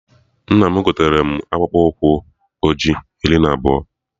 Nna m gotere mụ akpụkpụ ụkwụ ọjị iri na abụọ